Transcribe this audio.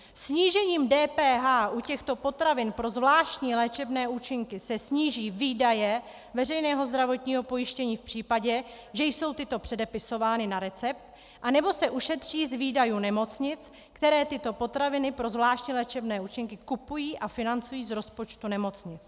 Snížením DPH u těchto potravin pro zvláštní léčebné účinky se sníží výdaje veřejného zdravotního pojištění v případě, že jsou tyto předepisovány na recept, a nebo se ušetří výdaje nemocnic, které tyto potraviny pro zvláštní léčebné účinky kupují a financují z rozpočtu nemocnic.